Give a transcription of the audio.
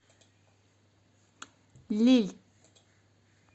лилль